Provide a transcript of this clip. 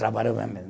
Trabalhou bem mesmo.